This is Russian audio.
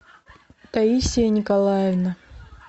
таисия николаевна